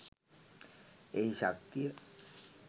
එහි ශක්තිය